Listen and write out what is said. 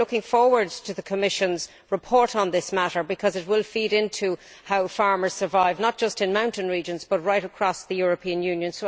We are looking forward to the Commission's report on this matter because it will feed into how farmers survive, not just in mountain regions, but right across the European Union.